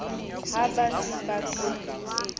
ha ba se ba qetile